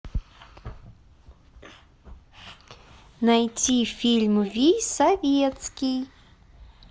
найти фильм вий советский